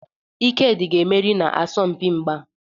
Ikedi ga-emeri n'asọmpi mgba.